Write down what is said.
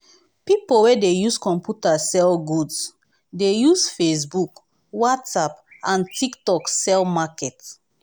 pipo wey dey use computer sell goods dey use facebook whatsapp and tiktok sell market